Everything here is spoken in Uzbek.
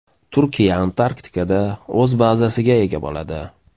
Turkiya Antarktikada o‘z bazasiga ega bo‘ladi.